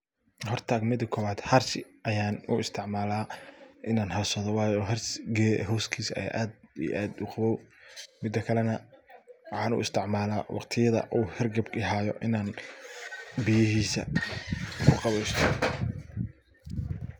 Horta marka kobaad hari ayaan uisticmala in aan harsado waayo harsi geed hostisa ayaa aad iyo aad uqaboob. Mida kale na waxaan uisticmala waqtiyadha uu hergeb ihaayo inaan biyahiisa kuqabeysto.